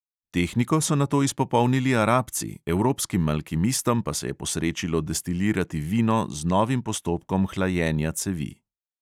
Tehniko so nato izpopolnili arabci, evropskim alkimistom pa se je posrečilo destilirati vino z novim postopkom hlajenja cevi.